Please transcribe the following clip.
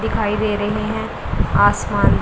दिखाई दे रहे हैं आसमान--